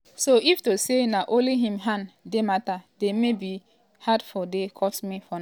um so if to say na only im hand di mata dey maybe my heart for dey cut me for now.